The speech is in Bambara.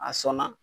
A sɔnna